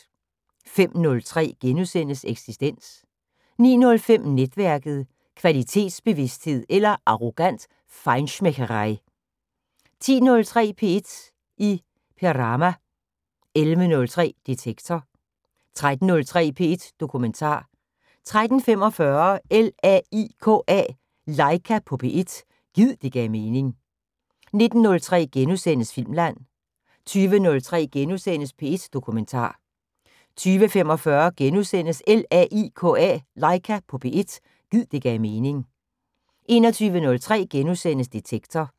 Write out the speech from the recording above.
05:03: Eksistens * 09:05: Netværket: Kvalitetsbevidsthed eller arrogant feinschmeckerei 10:03: P1 i Perama 11:03: Detektor 13:03: P1 Dokumentar 13:45: LAIKA på P1 – gid det gav mening 19:03: Filmland * 20:03: P1 Dokumentar * 20:45: LAIKA på P1 – gid det gav mening * 21:03: Detektor *